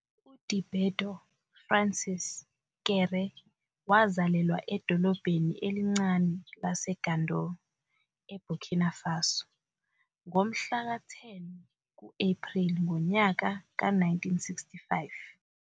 UDiébédo Francis Kéré wazalelwa edolobheni elincane laseGando eBurkina Faso ngomhla ka-10 ku-Apreli ngonyaka ka-1965.